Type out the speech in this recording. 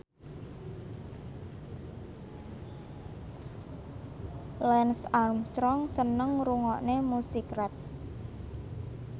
Lance Armstrong seneng ngrungokne musik rap